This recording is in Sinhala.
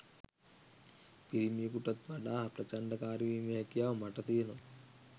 පිරිමියෙකුටත් වඩා ප්‍රචණ්ඩකාරී වීමේ හැකියාව මට තියෙනවා